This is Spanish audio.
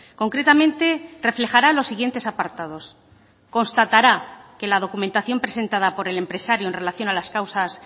concretamente reflejara los siguientes apartados constatara que la documentación presentada por el empresario en relación a las causas